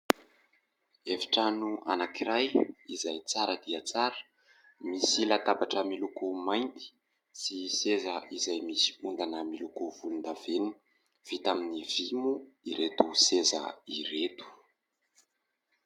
Efi-trano anankiray izay tsara dia tsara. Misy latabatra miloko mainty sy seza izay misy ondana miloko volondavenona, vita amin'ny vy moa ireto seza ireto.